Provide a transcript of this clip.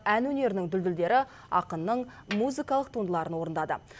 ән өнерінің дүлдүлдері ақынның музыкалық туындыларын орындады